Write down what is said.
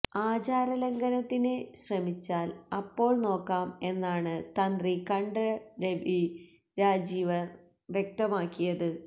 ആചാരലംഘനത്തിന് ശ്രമിച്ചാല് അപ്പോള് നോക്കാം എന്നാണ് തന്ത്രി കണ്ഠര് രാജീവര് വ്യക്തമാക്കിയത്